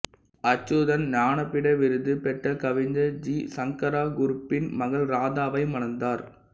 அச்சுதன் ஞானபீட விருது பெற்ற கவிஞர் ஜி சங்கரா குருப்பின் மகள் ராதாவை மணந்தார்